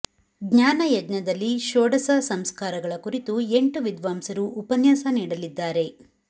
ಜ್ಞಾನ ಯಜ್ಞದಲ್ಲಿ ಷೋಡಸ ಸಂಸ್ಕಾರಗಳ ಕುರಿತು ಎಂಟು ವಿದ್ವಾಂಸರು ಉಪನ್ಯಾಸ ನೀಡಲಿದ್ದಾರೆ